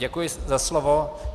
Děkuji za slovo.